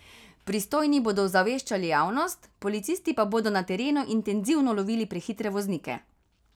Pristojni bodo ozaveščali javnost, policisti pa bodo na terenu intenzivno lovili prehitre voznike.